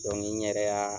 n yɛrɛ y'a